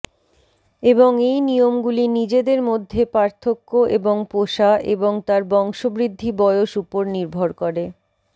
এবং এই নিয়মগুলি নিজেদের মধ্যে পার্থক্য এবং পোষা এবং তার বংশবৃদ্ধি বয়স উপর নির্ভর করে